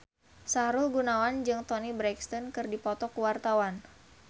Sahrul Gunawan jeung Toni Brexton keur dipoto ku wartawan